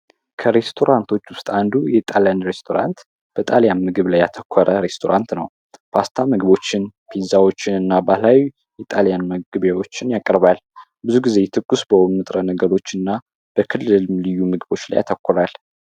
ከሬስቶራንቶች ውስጥ አንዱ የጣሊያን ውስጥ ሬስቶራንት በጣልያ ምግብ ላይ ያተኮረ ሬስቶራንት ነው። ፓስታዎችን፣ ፒዛዎችንና፣ ባህላዊ የጣሊያን ምግቦችን ያቀርባል። ብዙ ጊዜ የተኮስ በሆኑ ንጥረ ነገሮችና በክልም ልዩ ምግቦች ላይ ያተኩራል።